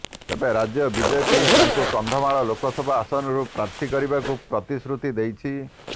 ତେବେ ରାଜ୍ୟ ବିଜେପି ତାଙ୍କୁ କନ୍ଧମାଳ ଲୋକସଭା ଆସନରୁ ପ୍ରାର୍ଥୀ କରିବାକୁ ପ୍ରତିଶ୍ରୁତି ଦେଇଛି